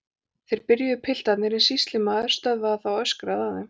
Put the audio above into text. Þeir byrjuðu piltarnir en sýslumaður stöðvaði þá og öskraði að þeim